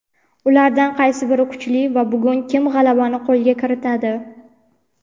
ulardan qaysi biri kuchli va bugun kim g‘alabani qo‘lga kiritadi?.